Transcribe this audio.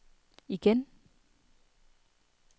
igen